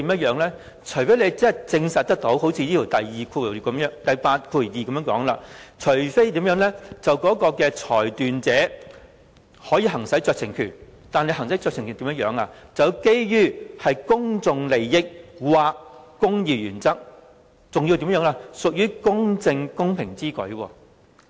因為事情不可以呈堂，除非如第82條所說般，即裁斷者可以行使酌情權，但行使酌情權時，要基於公眾利益或公義原則，還要屬於公正公平之舉。